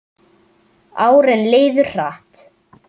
Árin liðu hratt.